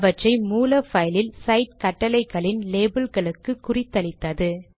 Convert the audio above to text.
அவற்றை மூல பைலில் சைட் கட்டளைகளின் லேபல் களுக்கு குறித்தளித்தது